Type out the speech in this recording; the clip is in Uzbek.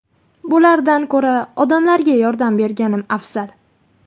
Bulardan ko‘ra odamlarga yordam berganim afzal.